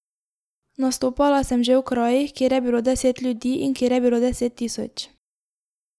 Nastopala sem že v krajih, kjer je bilo deset ljudi in kjer je bilo deset tisoč.